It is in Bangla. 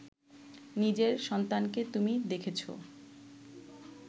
নিজের সন্তানকে তুমি দেখেছ